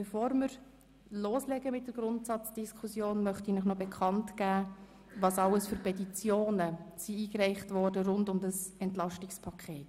Bevor wir mit der Grundsatzdiskussion beginnen, möchte ich Ihnen bekanntgeben, welche Petitionen rund um das EP eingereicht worden sind.